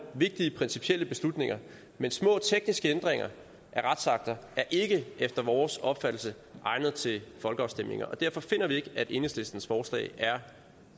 vigtige principielle beslutninger men små tekniske ændringer af retsakter er ikke efter vores opfattelse egnet til folkeafstemninger og derfor finder vi ikke at enhedslistens forslag er